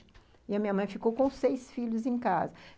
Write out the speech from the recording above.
E a minha mãe ficou com seis filhos em casa.